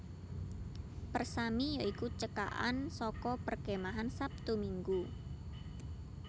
Persami ya iku cekakan saka Perkemahan Sabtu Minggu